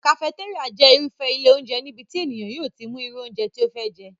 Kafetéríà jẹ́ irúfé ilé óúnjẹ níbi tí ènìyàn yóò ti mú irú óúnjẹ tí ó fẹ́ jẹ́